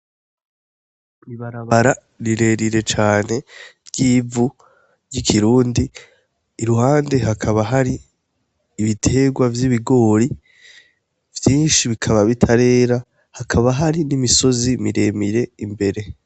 Ibarabara rirerire cane ry'ivu, ry'ikirundi, iruhande hakaba hari ibitegwa vy'ibigori, vyinshi bikaba bitarera, hakaba hari n'imisozi miremire imbere.